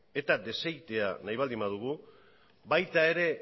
eta desegitea nahi baldin badugu